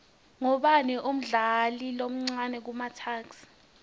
ubani umdlali omcani kumatuks